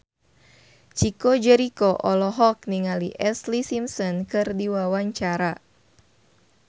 Chico Jericho olohok ningali Ashlee Simpson keur diwawancara